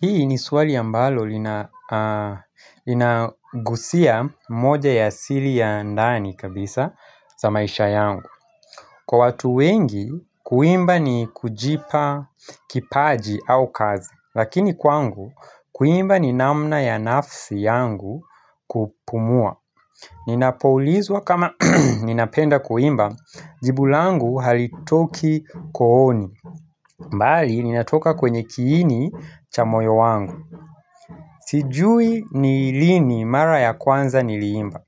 Hii ni swali ambalo lina linagusia moja ya sili ya ndani kabisa za maisha yangu. Kwa watu wengi, kuimba ni kujipa kipaji au kazi. Lakini kwangu, kuimba ni namna ya nafsi yangu kupumua. Ninapoulizwa kama ninapenda kuimba, jibu langu halitoki kooni. Mbali, linatoka kwenye kiini cha moyo wangu. Sijui ni lini mara ya kwanza nili imba,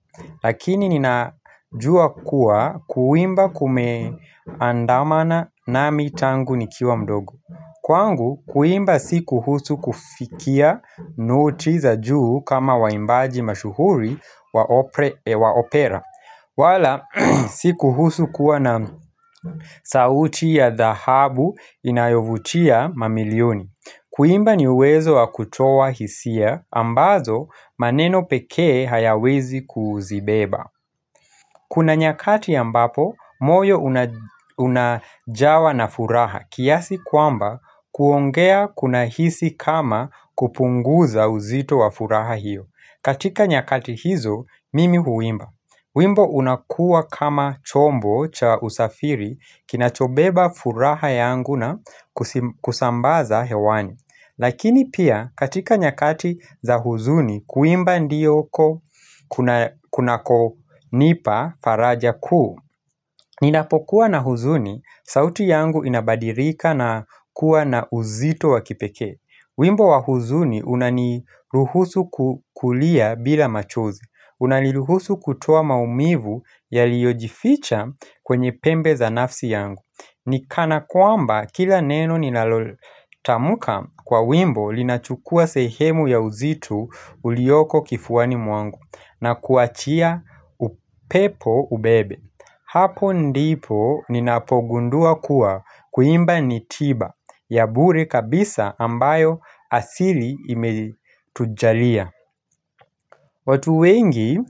lakini ninajua kuwa kuimba kume andamana nami tangu nikiwa mdogo. Kwangu, kuimba si kuhusu kufikia noti za juu kama waimbaji mashuhuri wa ope opera. Wala, si kuhusu kuwa na sauti ya dhahabu inayovutia mamilioni. Kuimba ni uwezo wa kutoa hisia ambazo maneno pekee hayawezi kuzibeba. Kuna nyakati ambapo, moyo una unajawa na furaha kiasi kwamba kuongea kuna hisi kama kupunguza uzito wa furaha hiyo. Katika nyakati hizo, mimi huimba. Wimbo unakua kama chombo cha usafiri kinacho beba furaha yangu na kusi kusambaza hewani. Lakini pia katika nyakati za huzuni kuimba ndiyo ko kuna kunako nipa faraja kuu Ninapokuwa na huzuni, sauti yangu inabadirika na kuwa na uzito wa kipekee. Wimbo wa huzuni unani ruhusu ku kulia bila machozi. Unaniruhusu kutoa maumivu yaliojificha kwenye pembe za nafsi yangu. Nikana kwamba kila neno nilalotamka kwa wimbo linachukua sehemu ya uzito uliyoko kifuani mwangu na kuachia upepo ubebe Hapo ndipo ninapogundua kuwa kuimba ni tiba ya bure kabisa ambayo asili imetujalia watu wengi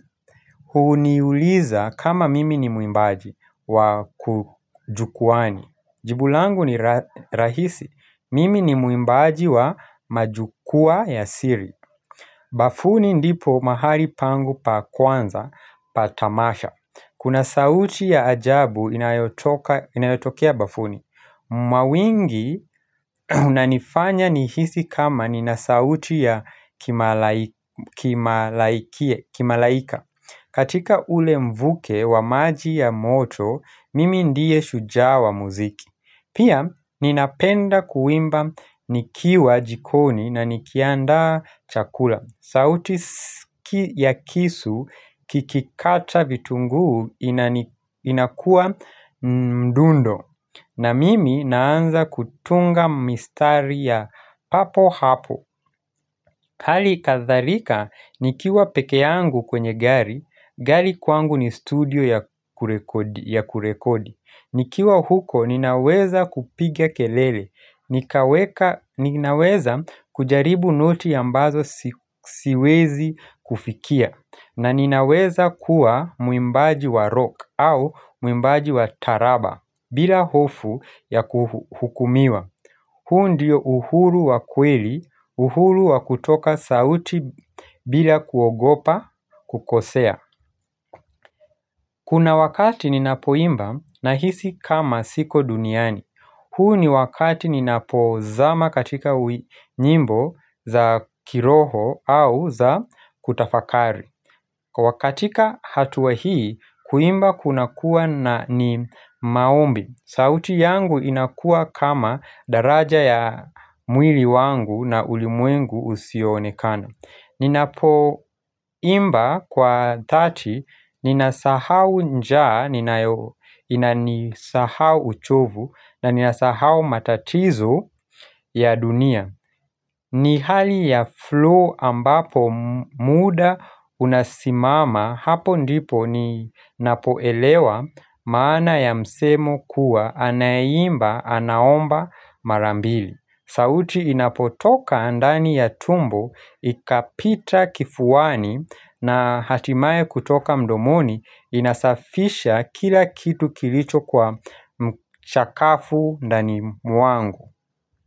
huniuliza kama mimi ni muimbaji wa ku jukwani. Jibu langu ni ni rahisi, mimi ni muimbaji wa majukwaa ya siri bafuni ndipo mahali pangu pa kwanza, pa tamasha Kuna sauti ya ajabu inayotoka inayotokea bafuni. Mawingi unanifanya nihisi kama nina sauti ya kimalai kimalaikie kimalaika katika ule mvuke wa maji ya moto, mimi ndiye shujaa wa muziki pia ninapenda kuimba nikiwa jikoni na nikiandaa chakula. Sauti ya kisu kikikata vitunguu inani inakua mdundo. Na mimi naanza kutunga mistari ya papo hapo. Hali kadharika nikiwa peke yangu kwenye gari, gari kwangu ni studio ya kurekodi ya kurekodi. Nikiwa huko ninaweza kupigia kelele, nikaweka ninaweza kujaribu noti ambazo si siwezi kufikia, na ninaweza kuwa muimbaji wa rock au muimbaji wa taraba, bila hofu ya kuhu hukumiwa. Huu ndio uhuru wa kweli, uhuru wa kutoka sauti bila kuogopa kukosea. Kuna wakati ni napoimba nahisi kama siko duniani. Huu ni wakati ninapozama katika ui nyimbo za kiroho au za kutafakari. Kwa katika hatua hii, kuimba kuna kuwa na ni maombi. Sauti yangu inakua kama daraja ya mwili wangu na ulimwengu usionekana. Ninapo imba kwa dhati, ninasahau njaa, ninayo inanisahau uchovu, na ninasahau matatizo ya dunia. Ni hali ya flu ambapo muda unasimama hapo ndipo ninapoelewa maana ya msemo kuwa anaye imba anaomba mara mbili. Sauti inapotoka ndani ya tumbo, ikapita kifuani na hatimaye kutoka mdomoni inasafisha kila kitu kilicho kwa mchakafu ndani mwangu.